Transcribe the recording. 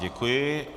Děkuji.